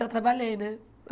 Eu trabalhei, né?